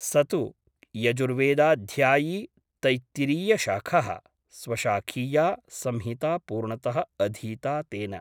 स तु यजुर्वेदाध्यायी तैत्तिरीयशाखः । स्वशाखीया संहिता पूर्णतः अधीता तेन ।